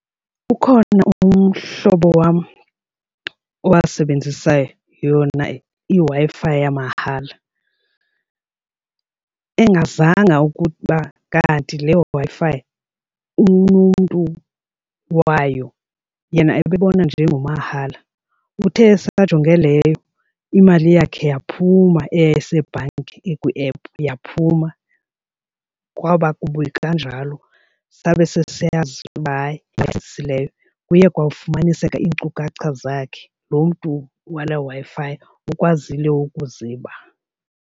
Ukhona umhlobo wam owasebenzisa yona iWi-Fi yamahala engazanga ukuba kanti le Wi-Fi unomntu wayo yena ebona nje ingumahala. Uthe esajonge leyo imali yakhe yaphuma eyayisebhanki, ikwi-app, yaphuma kwaba kubi kanjalo sabe sesiyazi uba hayi kuye kwafumaniseka iinkcukacha zakhe. Loo mntu wale Wi-Fi ukwazile ukuziba.